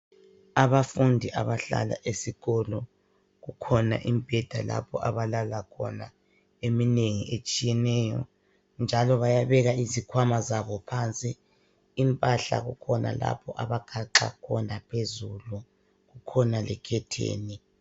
Abafundi abahlala esikolo kukhona imibheda lapho abalala khona eminengi etshiyeneyo njalo bayabeka izikhwama zabo phansi. Impahla kukhona lapha abagaxa khona phezulu, kukhona lekhetheni.